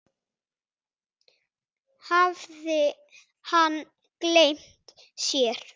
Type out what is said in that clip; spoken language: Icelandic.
Hafði hann gleymt sér?